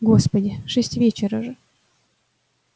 господи шесть вечера же